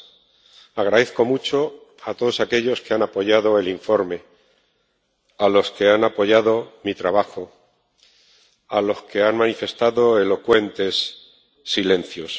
Doy las gracias a todos aquellos que han apoyado el informe, a los que han apoyado mi trabajo, a los que han manifestado elocuentes silencios.